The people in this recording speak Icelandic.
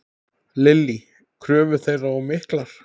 Lillý: Kröfur þeirra of miklar?